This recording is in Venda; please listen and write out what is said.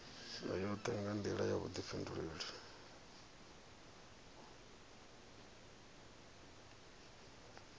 yoṱhe nga nḓila ya vhuḓifhinduleli